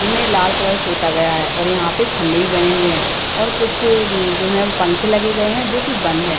Gym में लाल colour पोता गया है और यहाँ पे खम्बे भी बने हुए हैं और कुछ जो हैं पंखे लगे गए है जो की बंद हैं।